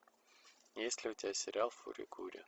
есть ли у тебя сериал фури кури